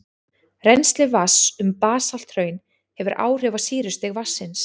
Rennsli vatns um basalthraun hefur áhrif á sýrustig vatnsins.